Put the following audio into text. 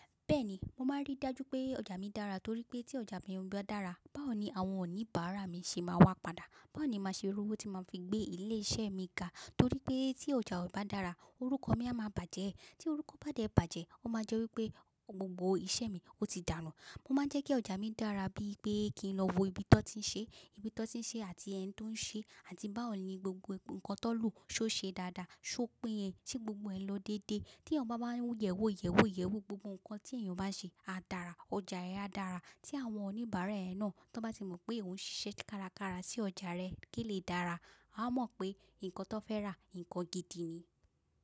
Bẹ́ẹ̀ni, mo máa rí dájú pé ọjà mi dára torí pé tí ọjà mi bá dára, báwo ni àwọn oníbàárà mi ṣe máa wá padà? Báwo ni màá ṣe rówó tí màá fi gbé ilé iṣẹ́ mi ga? Torí pé tí ọjà o bá dára, orúkọ mi a máa bàjẹ́. Tí orúkọ bá dé bàjẹ́, ó máa jẹ́ wí pé gbogbo iṣẹ́ mi ó ti dàànù Mo máa ń jẹ́ kí ọjà mi dára bí i pé kí n lọ wo ibi tí wọ́n ti ń ṣe, ibi tí wọ́n ti ń ṣe àti ẹni tí ó ń ṣe àti bá òní gbogbo nǹkan tó lò ṣó ṣe dáadáa, ṣó peyẹ̀ se gbogbo ẹ lọ dédé. Tí eyan báwa ń yẹ̀wò, yẹ̀wò, yẹ̀wò gbogbo nǹkan tí èèyàn bá ṣe, a dára, ọjà rẹ á dára. Tí àwọn oníbàárà ẹ náà tó bá ti mọ̀ pé òun ń ṣiṣẹ́ kárakára sí ọjà rẹ̀ kí ó lè dára, a mọ̀ pé nǹkan tó fẹ́ rà nǹkan gidi ni.